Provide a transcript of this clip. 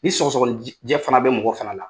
Ni sɔgɔsɔgɔ nijɛ fana bɛ mɔgɔ fana la